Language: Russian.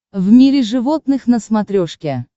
в мире животных на смотрешке